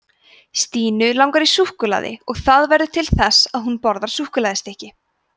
stínu langar í súkkulaði og það verður til þess að hún borðar súkkulaðistykki